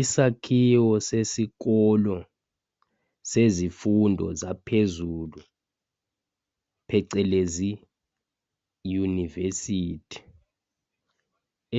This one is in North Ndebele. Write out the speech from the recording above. isakhiwo sesikolo sezifundo zaphezulu phecelezi univesithi